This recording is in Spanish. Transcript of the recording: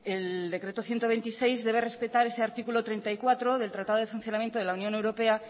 el decreto ciento veintiséis debe respetar ese artículo treinta y cuatro del tratado de funcionamiento de la unión europea